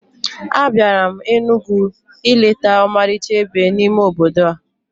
Abịara m Enugwu ileta ọmarịcha ebe n'ime obodo a